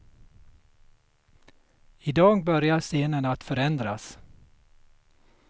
I dag börjar scenen att förändras.